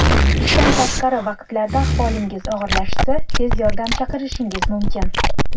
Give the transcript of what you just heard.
Ishdan tashqari vaqtlarda ahvolingiz og‘irlashsa, tez yordam chaqirishingiz mumkin.